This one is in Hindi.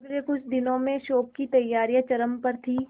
अगले कुछ दिनों में शो की तैयारियां चरम पर थी